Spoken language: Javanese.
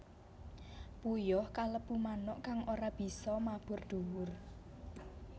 Puyuh kalebu manuk kang ora bisa mabur dhuwur